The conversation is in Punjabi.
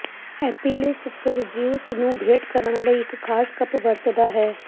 ਐਪੀਲਿਸ ਫਿਰ ਜ਼ਿਊਸ ਨੂੰ ਭੇਟ ਕਰਨ ਲਈ ਇਕ ਖ਼ਾਸ ਕੱਪ ਵਰਤਦਾ ਹੈ